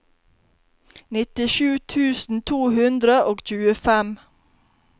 nittisju tusen to hundre og tjuefem